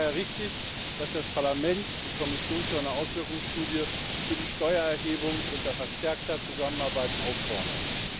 Es ist daher richtig, dass das Parlament die Kommission zu einer Auswirkungsstudie für die Steuererhebung unter verstärkter Zusammenarbeit auffordert.